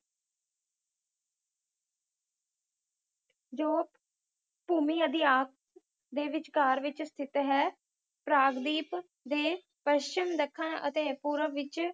ਜੋ ਭੂਮੀ ਆਦਿ ਆਪ ਦੇ ਵਿਚਕਾਰ ਵਿਚ ਸਥਿਤ ਹੈ ਪ੍ਰਾਯਦੀਪ ਦੇ ਪਚਿੱਮ ਦੱਖਣ ਅਤੇ ਪੂਰਵ ਵਿਚ